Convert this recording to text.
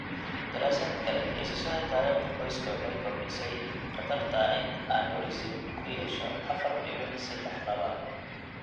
Daraasad kale, haysashada taariikhda qoyska waxay kordhisay khatarta ah in aneurysm-ku yeesho afar dibic sedex laab.